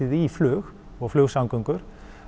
í flug og flugsamgöngur